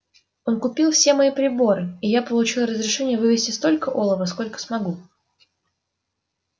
он купил все мои приборы и я получил разрешение вывезти столько олова сколько смогу